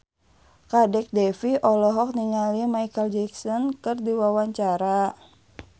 Kadek Devi olohok ningali Micheal Jackson keur diwawancara